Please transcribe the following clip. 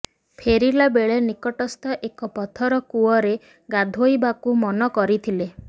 ଫେରିବା ବେଳେ ନିକଟସ୍ଥ ଏକ ପଥର କୂଅରେ ଗାଧୋଇବାକୁ ମନ କରିଥିଲେ